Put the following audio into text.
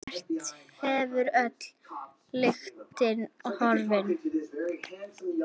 Hvert hefur öll lyktin horfið?